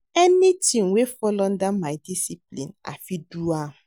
Anything wey fall under my discipline, I fit do am.